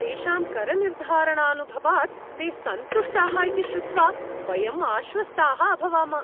तेषां करनिर्धारणानुभवात् ते सन्तुष्टाः इति श्रुत्वा वयं आश्वस्ताः अभवाम।